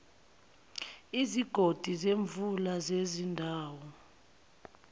izigodi zemvula zezindawo